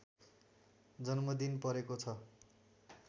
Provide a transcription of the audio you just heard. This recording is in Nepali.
जन्मदिन परेको छ